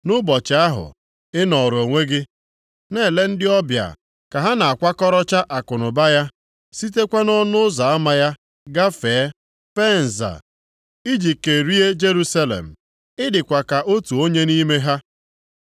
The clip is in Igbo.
Nʼụbọchị ahụ, ị nọọrọ onwe gị, na-ele ndị ọbịa ka ha na-akwakọrọcha akụnụba ya, sitekwa nʼọnụ ụzọ ama ya gafee fee nza iji kerie Jerusalem. Ị dịkwa ka otu onye nʼime ha.